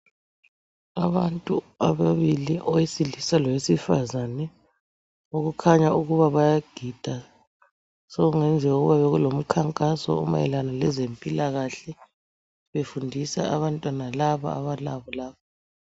Abantu ababili owesilisa lowesifazane okukhanya ukuba bayagida. Sokungayenzeka ukuba bekulomkhankaso omayelana lezempilakahle befundisa abantwana laba abalabo la.